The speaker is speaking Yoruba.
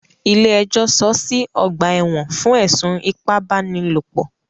Ilé ẹjọ́ sọọ́ sí ọ̀gbà ẹ̀wọ̀n fún ẹ̀sùn ipábánilòpọ̀.